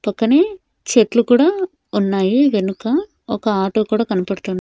పక్కనే చెట్లు కూడా ఉన్నాయి వెనుక ఒక ఆటో కూడా కనపడుతుంది.